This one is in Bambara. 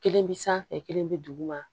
Kelen bi sanfɛ kelen bi duguma